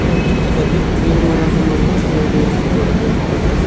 ವು ಚಿತ್ರದಲ್ಲಿ ಮೀನು ಮಾರಾಟ ಮಾಡುವ ಅಂಗಡಿಯನ್ನು ನೋಡಬಹುದಾಗಿದೆ.